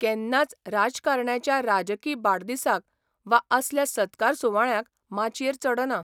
केन्नाच राजकारण्याच्या राजकी बाडदिसाक वा असल्या सत्कार सुवाळ्यांक माचयेर चडना.